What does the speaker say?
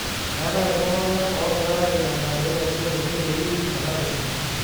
Meetai iltung'anak oogirai ailenga peeitobiru neitoyiu ena kisuma